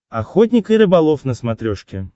охотник и рыболов на смотрешке